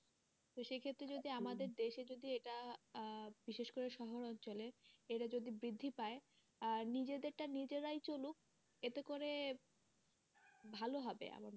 তো সেক্ষেত্রে যদি আমাদের দেশে যদি এটা আহ বিশেষ করে শহর অঞ্চলে এটা যদি বৃদ্ধি পায় আর নিজেদের টা নিজেরাই চলুক এতে করে ভালো হবে আমার,